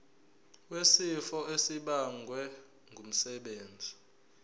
wesifo esibagwe ngumsebenzi